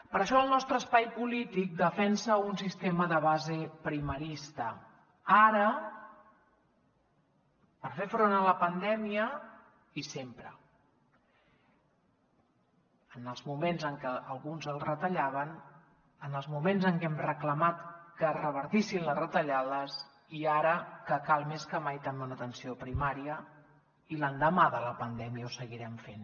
per això el nostre espai polític defensa un sistema de base primarista ara per fer front a la pandèmia i sempre en els moments en què alguns els retallaven en els moments en què hem reclamat que es revertissin les retallades i ara que cal més que mai també una atenció primària i l’endemà de la pandèmia ho seguirem fent